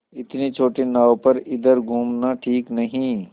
इतनी छोटी नाव पर इधर घूमना ठीक नहीं